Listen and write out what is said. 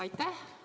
Aitäh!